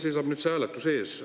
Meil seisab nüüd see hääletus ees.